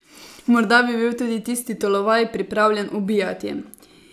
Morda bi bil tudi tisti tolovaj pripravljen ubijati.